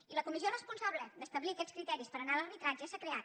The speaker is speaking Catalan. i la comissió responsable d’establir aquests criteris per anar a l’arbitratge s’ha creat